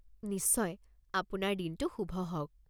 নিশ্চয়। আপোনাৰ দিনটো শুভ হওক।